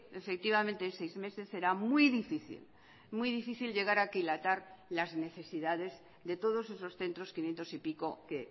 efectivamente en seis meses será muy difícil muy difícil llegar a aquilatar las necesidades de todos esos centros quinientos y pico que